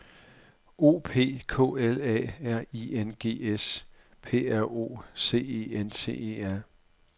O P K L A R I N G S P R O C E N T E R